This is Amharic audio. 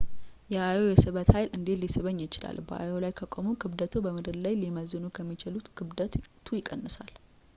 የአዮ የስበት ኃይል እንዴት ሊስበኝ ይችላል በአዮ ላይ ከቆሙ ክብደትዎ በምድር ላይ ሊመዝኑ ከሚችሉት ክብደቱ ያንሳል